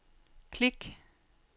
klik